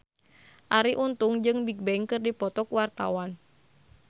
Arie Untung jeung Bigbang keur dipoto ku wartawan